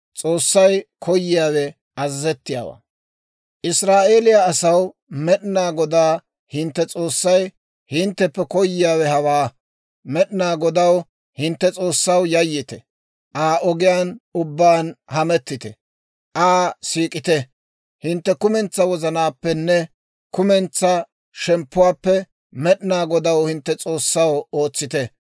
«Israa'eeliyaa asaw, Med'inaa Godaa hintte S'oossay hintteppe koyiyaawe hawaa: Med'inaa Godaw, hintte S'oossaw, yayyite; Aa ogiyaan ubbaan hamettite; Aa siik'ite; hintte kumentsaa wozanaappenne kumentsaa shemppuwaappe Med'inaa Godaw, hintte S'oossaw ootsite.